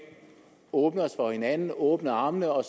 åbne os for hinanden åbne armene og